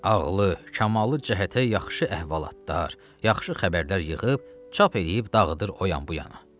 Ağlı, kamalı cəhətə yaxşı əhvalatlar, yaxşı xəbərlər yığıb, çap eləyib, dağıdır o yan bu yana.